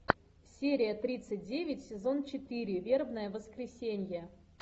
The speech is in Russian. серия тридцать девять сезон четыре вербное воскресенье